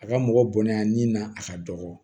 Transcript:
A ka mɔgɔ bonya ni na a ka dɔgɔ